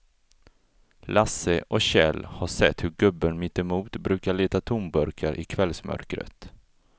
Lasse och Kjell har sett hur gubben mittemot brukar leta tomburkar i kvällsmörkret.